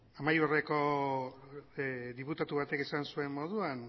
amaiurreko diputatu batek esan zuen moduan